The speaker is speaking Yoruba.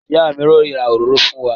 Ìyá mi yóò ra òróró fún wa.